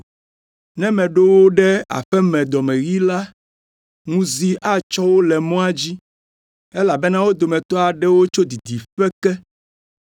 Ne meɖo wo ɖe aƒe me dɔmeɣii la, ŋuzi atsɔ wo le mɔa dzi, elabena wo dometɔ aɖewo tso didiƒe ke.”